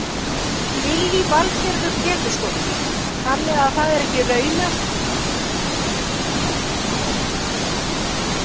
Lillý Valgerður Pétursdóttir: Þannig að það er ekki raunhæft að aðrir fái ríkulegar launahækkanir?